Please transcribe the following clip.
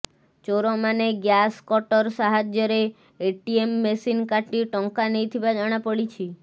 ଚୋରମାନେ gas cutter ସାହାଯ୍ୟରେ ATM machine କାଟି ଟଙ୍କା ନେଇଥିବା ଜଣାପଡ଼ିଛି